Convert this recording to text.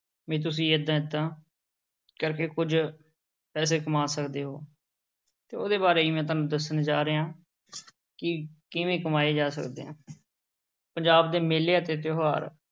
ਵੀ ਤੁਸੀਂ ਏਦਾਂ ਏਦਾਂ ਕਰਕੇ ਕੁੱਝ ਪੈਸੇ ਕਮਾ ਸਕਦੇ ਹੋ ਤੇ ਉਹਦੇ ਬਾਰੇ ਹੀ ਮੈਂ ਤੁਹਾਨੂੰ ਦੱਸਣ ਜਾ ਰਿਹਾਂ ਕਿ ਕਿਵੇਂ ਕਮਾਏ ਜਾ ਸਕਦੇ ਆ ਪੰਜਾਬ ਦੇ ਮੇਲੇ ਅਤੇ ਤਿਉਹਾਰ।